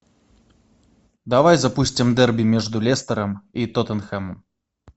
давай запустим дерби между лестером и тоттенхэмом